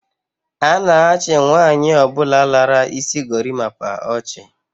A na-achi nwaanyi obula lara isi gorimapa ochi.